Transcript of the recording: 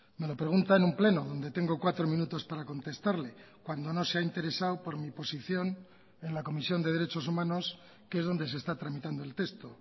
me lo pregunta en un pleno donde tengo cuatro minutos para contestarle cuando no se ha interesado por mi posición en la comisión de derechos humanos que es donde se está tramitando el texto